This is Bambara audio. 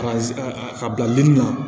Ka ka bila denni na